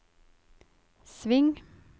sving